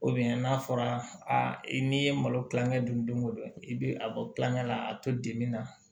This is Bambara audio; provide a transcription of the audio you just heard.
n'a fɔra a i n'i ye malo kilanŋɛ dun don o don i bɛ a bɔ tulonkɛ la a bɛ to dimi na